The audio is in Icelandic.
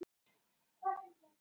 Ögri, er opið í HÍ?